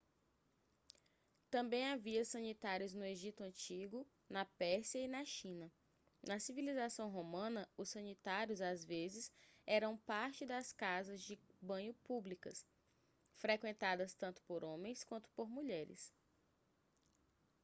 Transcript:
também havia sanitários no egito antigo na pérsia e na china na civilização romana os sanitários às vezes eram parte das casas de banho públicas frequentadas tanto por homens quanto por mulheres